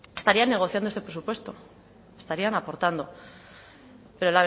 estarían negociando este presupuesto estarían aportando pero